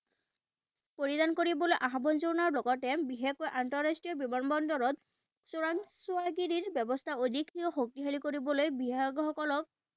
পৰিধান কৰিবলৈ আহ্বান জনোৱাৰ লগতে বিশেষকৈ আন্তঃৰাষ্ট্ৰীয় বিমান বন্দৰত চোৰাংচোৱাগিৰিৰ ব্যৱস্থা অধিককৈ শক্তিশালী কৰিবলৈ বিশেষজ্ঞসকলক